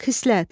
Xislət.